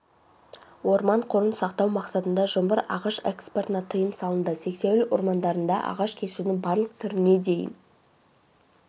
орман қорын сақтау мақсатында жұмыр ағаш экспортына тыйым салынды сексеуіл ормандарында ағаш кесудің барлық түріне дейін